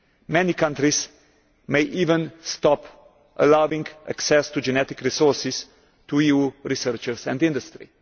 Many countries may even stop allowing access to genetic resources to EU researchers and industry.